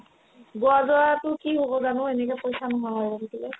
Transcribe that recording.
গোৱা যোৱাতো কি হ'ব জানো এনেকে পইচা নোহোৱা হৈ আৰু থাকিলে